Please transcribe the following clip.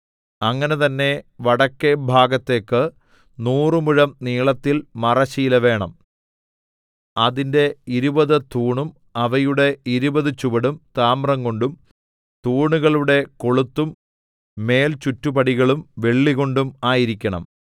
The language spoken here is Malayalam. അങ്ങനെ തന്നെ വടക്കെ ഭാഗത്തേക്ക് നൂറ് മുഴം നീളത്തിൽ മറശ്ശീല വേണം അതിന്റെ ഇരുപത് തൂണും അവയുടെ ഇരുപത് ചുവടും താമ്രംകൊണ്ടും തൂണുകളുടെ കൊളുത്തും മേൽചുറ്റുപടികളും വെള്ളികൊണ്ടും ആയിരിക്കണം